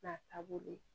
N'a taabolo ye